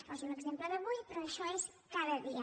poso l’exemple d’avui però això és cada dia